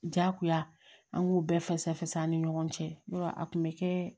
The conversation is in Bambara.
Jagoya an k'u bɛɛ fɛsɛfɛsɛ an ni ɲɔgɔn cɛ n'o tɛ a kun bɛ kɛ